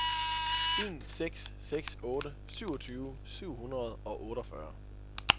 en seks seks otte syvogtyve syv hundrede og otteogfyrre